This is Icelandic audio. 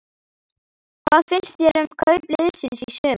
Hvað finnst þér um kaup liðsins í sumar?